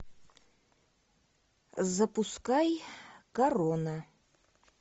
запускай корона